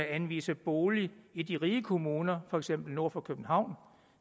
anvise bolig i de rige kommuner for eksempel nord for københavn